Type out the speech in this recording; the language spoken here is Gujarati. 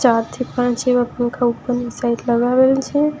ચારથી પાંચ જેવા પંખા ઉપરની સાઈડ લગાવેલ છે.